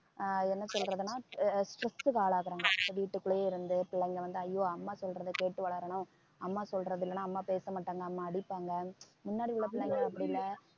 ஆஹ் என்ன சொல்றதுன்னா ஆஹ் stress க்கு ஆளாகுறாங்க வீட்டுக்குள்ளேயே இருந்து பிள்ளைங்க வந்து ஐயோ அம்மா சொல்றதை கேட்டு வளரணும் அம்மா சொல்றது இல்லைன்னா அம்மா பேச மாட்டாங்க அம்மா அடிப்பாங்க முன்னாடி உள்ள பிள்ளைங்க அப்படி இல்லை